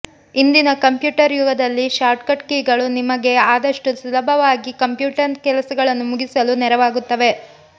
ಇಂದಿನ ಕಂಪ್ಯೂಟರ್ ಯುಗದಲ್ಲಿ ಶಾರ್ಟ್ಕಟ್ ಕೀಗಳು ನಿಮಗೆ ಆದಷ್ಟು ಸುಲಭವಾಗಿ ಕಂಪ್ಯೂಟರ್ ಕೆಲಸಗಳನ್ನು ಮುಗಿಸಲು ನೆರವಾಗುತ್ತವೆ